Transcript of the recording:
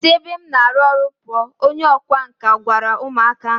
Si ebe m na alu oru puuo, Onye ọkwá nkà gwara umu aka ahu.